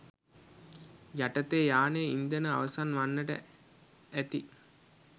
යටතේ යානයේ ඉන්ධන අවසන් වන්නට ඇති